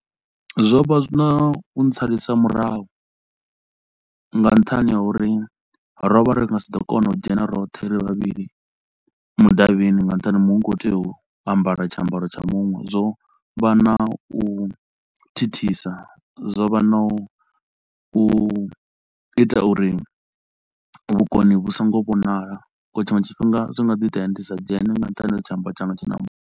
Zwo vha zwi na u ntsalisa murahu nga nṱhani ha uri ro vha ri nga si ḓo kona u dzhena roṱhe ri vhavhili mudavhini nga nṱhani ha muṅwe u khou tea u ambara tshiambaro tsha muṅwe. Zwo vha na u thithisa, zwo vha na u ita uri vhukoni vhu so ngo vhonala ngauri tshinwe tshifhinga zwi nga ḓi itea ndi sa dzhene nga nṱhani ha uri tshiambaro tshanga tshi na muṅwe.